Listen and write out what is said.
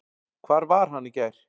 Hvar var hann í gær?